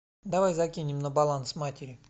давай закинем на баланс матери